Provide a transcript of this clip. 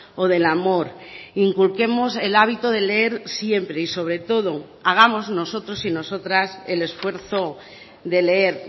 o del amor inculquemos el hábito de leer siempre y sobre todo hagamos nosotros y nosotras el esfuerzo de leer